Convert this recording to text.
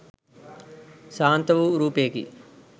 ශාන්ත වූ රූපයකි